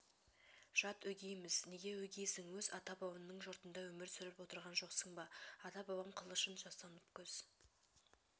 жат өгейміз неге өгейсің өз ата-бабаңның жұртында өмір сүріп отырған жоқсың ба ата-бабам қылышын жастанып көз